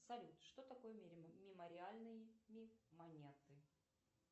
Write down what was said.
салют что такое мемориальные монеты